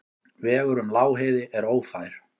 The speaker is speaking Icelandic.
Vegurinn um Lágheiði er ófær.